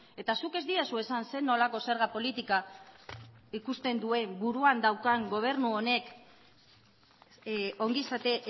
eta zuk ez didazu esan zer nolako zerga politika ikusten duen buruan daukan gobernu honek ongizate